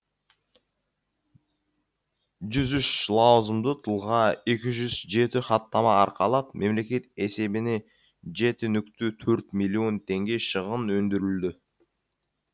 жүз үш лауазымды тұлға екі жүз жеті хаттама арқалап мемлекет есебіне жеті нүкте төрт миллион теңге шығын өндірілді